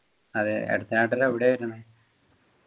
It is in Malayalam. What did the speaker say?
അതെ അടുത്ത നാട്ടില് എവിടെയാ വരുന്നത്